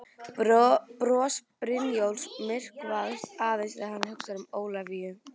Bros Brynjólfs myrkvast aðeins þegar hann hugsar um Ólafíu.